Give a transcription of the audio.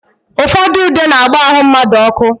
Ụfọdụ ude na-agba ahụ mmadụ ọkụ.